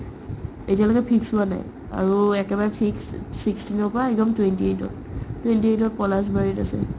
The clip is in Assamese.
এতিয়ালৈকে fix হোৱা নাই আৰু একেবাৰে fixed sixteen ৰ পৰা একদম twenty-eight তত twenty-eight তত পলাশবাৰীত আছে ।